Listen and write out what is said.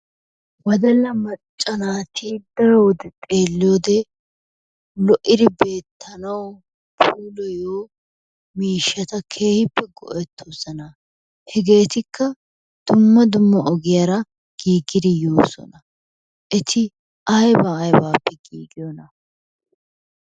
Woddalla macca naati daro wode xeeliyode lo'idi beettanawu puulayiyo miishshata keehippe go'ettoosona. Hegeetikka dumma dumma ogiyaara giiggidi de'oosona. Eti ayba aybaappe giggiyona?